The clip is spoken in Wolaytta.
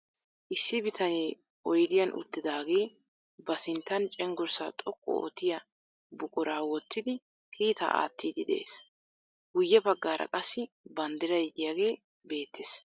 Issi bitanee oyidiyan uttidaagee ba sinttan cenggurssaa xoqqu oottiya buquraa wottidi kiitaa aattiiddi de'ees. Guyye baggaara qassi banddiray diyagee beettes.